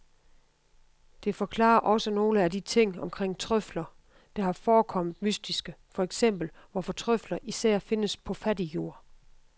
Det forklarer også nogle af de ting omkring trøfler, der har forekommet mystiske, for eksempel hvorfor trøfler især findes på fattig jord.